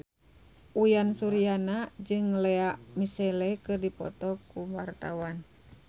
Uyan Suryana jeung Lea Michele keur dipoto ku wartawan